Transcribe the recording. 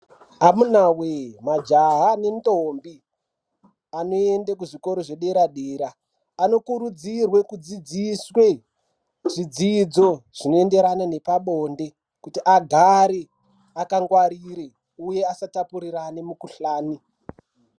Amuna yee majaha nendombi anoende kuzvikora zvedera-dera, anokurudzirwe kudzidziswe zvidzidzo zvinoenderane nepabonde. kuti agare akangwarire uye asatapurirane mukuhlani.